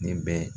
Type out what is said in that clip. Nin bɛ